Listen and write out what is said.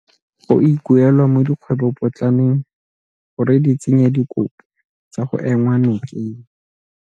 Go ikuelwa mo dikgwebopotlaneng gore di tsenye dikopo tsa go enngwa nokeng.